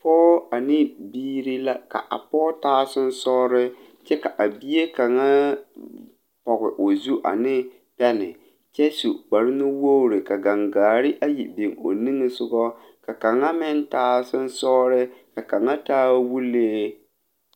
Pɔɔ ane biire la ka a pɔɔ taa seŋsɔge kyɛ ka a bie kaŋa pɔge o zu ane pɛne kyɛ su kparenuwogre gaŋaare ayi biŋ o niŋesugɔ ka kaŋa meŋ taa seŋsɔgre ka kaŋa taa wulee